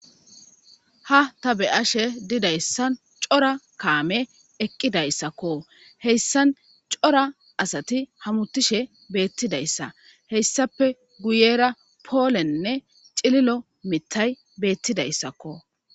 ha ta beyashe didayssan cora kaame eqqidayssakko heyssan cora asati hamutishe beettidayssa heyssape guyera poolennne cililo mittay beettidayssakko